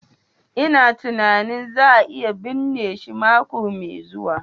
lna tunanin za a iya binne shi mako mai zuwa.